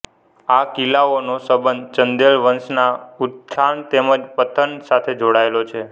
આ કિલ્લાઓનો સંબંધ ચંદેલ વંશના ઉત્થાન તેમ જ પતન સાથે જોડાયેલો છે